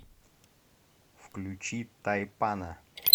включи тайпана